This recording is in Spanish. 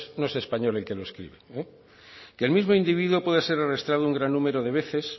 no es español el que lo escribe y el mismo individuo puede ser arrestado un gran número de veces